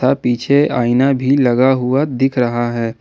अ पीछे आईना भी लगा हुआ दिख रहा है।